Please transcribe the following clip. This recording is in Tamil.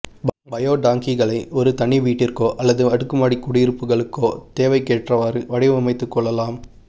பயோ டாங்கிகளை ஒரு தனி வீட்டிற்கோ அல்லது அடுக்கு மாடி குடியிருப்புகளுக்கோ தேவைக்கேற்றவாறு வடிவமைத்துக் கொள்ளலாம்